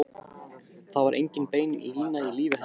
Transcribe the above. Það var engin bein lína í lífi hennar.